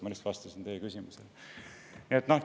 Ma lihtsalt vastasin teie küsimusele.